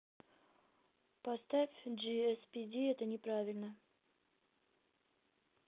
поставь джиэспиди это неправильно